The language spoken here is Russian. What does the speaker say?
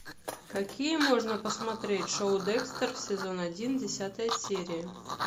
какие можно посмотреть шоу декстер сезон один десятая серия